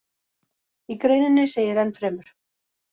Í greininni segir enn fremur: